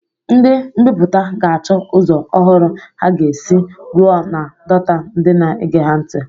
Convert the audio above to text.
Ndị mbiputa ga-achọ ụzọ ọhụrụ ha ga-esi ruo na dota ndị na-ege ha ntị.